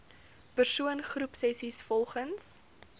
persoon groepsessies volgens